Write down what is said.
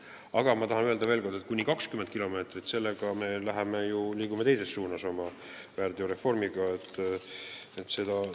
Aga ma tahan öelda veel kord, et kiiruseületamine kuni 20 kilomeetrit tunnis – siin me liigume oma väärteokaristuste reformiga teises suunas.